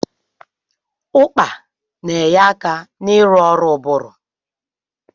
Ụkpà na-enye aka n'ịrụ ọrụ ụbụrụ.